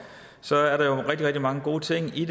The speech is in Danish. så er der rigtig rigtig mange gode ting i